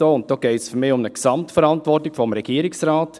Für mich geht es dabei um eine Gesamtverantwortung des Regierungsrates.